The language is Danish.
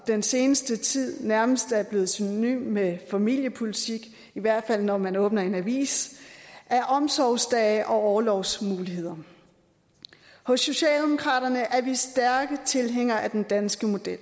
den seneste tid nærmest er blevet synonym med familiepolitik i hvert fald når man åbner en avis er omsorgsdage og orlovsmuligheder hos socialdemokraterne er vi stærke tilhængere af den danske model